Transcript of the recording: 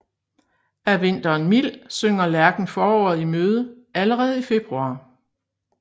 Er vinteren mild synger lærken foråret i møde allerede i februar